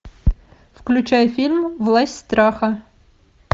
включай фильм власть страха